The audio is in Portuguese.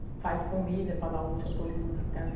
E faz comida para dar almoço para todo mundo que está ali.